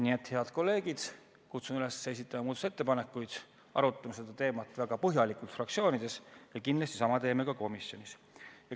Nii et, head kolleegid, kutsun üles esitama muudatusettepanekuid, arutama seda teemat väga põhjalikult fraktsioonides ja kindlasti teeme sama ka komisjonis.